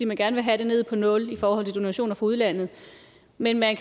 vil gerne helt ned på nul kr donationer fra udlandet men at